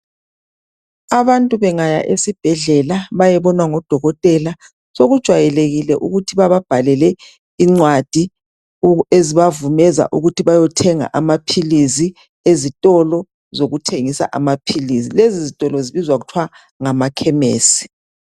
Abantu bengaya esibhedlela bayebonwa ngodokotela. Sokujwayelekile ukuthi bababhalele incwadi ezibavumeza ukuthi bayothenga amaphilizi ezitolo zokuthengisa amaphilizi. Lezi zitolo zibizwa kuthwa ngamakhemesi.